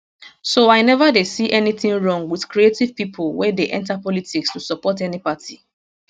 so i neva dey see anytin wrong wit creative pipo wey dey enta politics to support any party